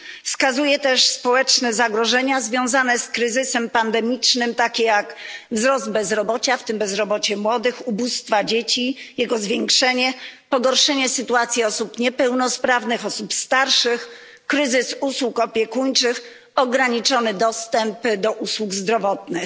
Wskazuje też na społeczne zagrożenia związane z kryzysem pandemicznym, takie jak wzrost bezrobocia, w tym bezrobocia młodych, zwiększenie ubóstwa dzieci, pogorszenie sytuacji osób niepełnosprawnych i osób starszych, kryzys usług opiekuńczych, ograniczony dostęp do usług zdrowotnych.